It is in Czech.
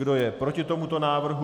Kdo je proti tomuto návrhu?